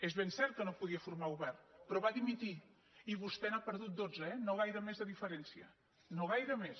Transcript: és ben cert que no podia formar govern però va dimitir i vostè n’ha perdut dotze no gaire més de diferència no gaire més